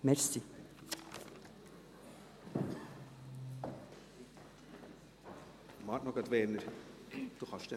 Warte noch Werner, du kannst dann nachher sprechen.